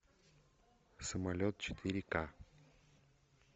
самолет четыре ка